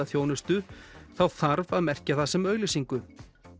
þjónustu þá þarf að merkja það sem auglýsingu